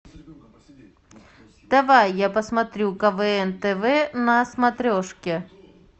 давай я посмотрю квн тв на смотрешке